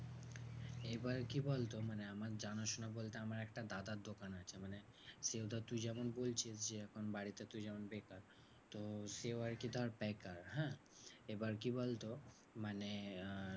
এবার কি বলতো? মানে আমার জানাশোনা বলতে আমার একটা দাদার দোকান আছে মানে সেইজন্য তুই যেমন বলছিস যে, এখন বাড়িতে তুই বেকার। তো সেও আরকি ধর বেকার হ্যাঁ? এবার কি বলতো? মানে আহ